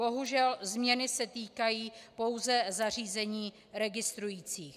Bohužel změny se týkají pouze zařízení registrujících.